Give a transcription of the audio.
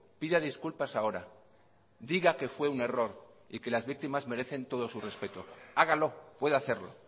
pida disculpas ahora diga que fue un error y que las víctimas merecen todo su respeto hágalo puede hacerlo